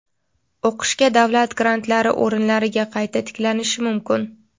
o‘qishga davlat grantlari o‘rinlariga qayta tiklanishi mumkin.